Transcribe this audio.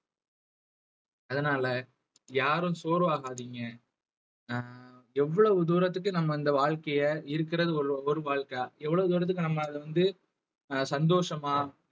அதனால யாரும் சோர்வாகாதீங்க அஹ் எவ்வளவு தூரத்துக்கு நம்ம இந்த வாழ்க்கைய இருக்கிறது ஒரு ஒரு வாழ்க்கை எவ்வளவு தூரத்துக்கு நம்ம அதை வந்து அஹ் சந்தோஷமா